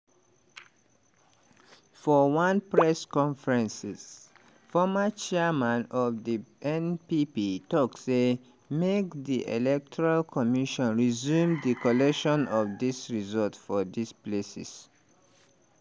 for one press conference former chairman of di npp tok say make di electoral commission resume di collation of di results for dis places.